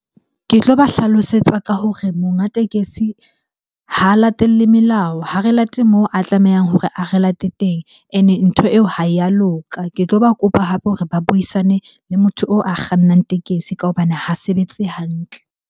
Ke tloba hlalosetsa ka hore monga tekesi ha a latelle melao, ha re late moo a tlamehang hore a re late teng ene ntho eo ha ya loka. Ke tloba kopa hape hore ba buisane le motho oo a kgannang tekesi ka hobane ha sebetse hantle.